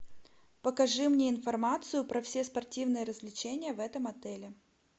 покажи мне информацию про все спортивные развлечения в этом отеле